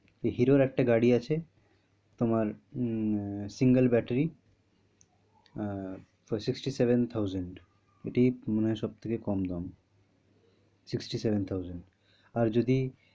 হিরোর একটা গাড়ি আছে তোমার um a single battery ah for sixty-seven thousand এটিই মনে হয় সব থেকে কম দাম sixty-seven thousand আর যদি